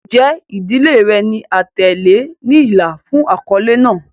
Njẹ idile rẹ ni atẹle ni ila fun akọle naa?